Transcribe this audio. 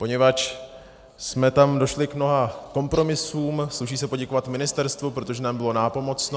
Poněvadž jsme tam došli k mnoha kompromisům, sluší se poděkovat Ministerstvu, protože nám bylo nápomocno.